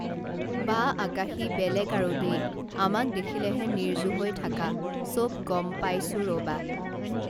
বা আকাশী বেলেগ আৰু দেই আমাক দেখিলেহে নিৰ্জু হৈ থাকা চব গম পাইছো ৰবা